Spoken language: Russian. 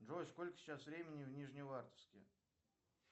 джой сколько сейчас времени в нижневартовске